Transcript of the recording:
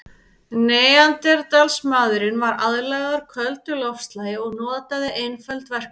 Neanderdalsmaðurinn var aðlagaður köldu loftslagi og notaði einföld verkfæri.